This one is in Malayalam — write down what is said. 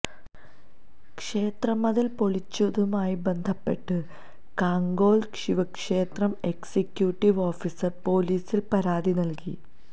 ക്ഷേത്ര മതില് പൊളിച്ചതുമായി ബന്ധപ്പെട്ട് കാങ്കോല് ശിവക്ഷേത്രം എക്സിക്യൂട്ടീവ് ഓഫീസര് പോലീസില് പരാതി നല്കി